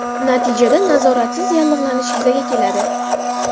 Natijada nazoratsiz yallig‘lanish yuzaga keladi.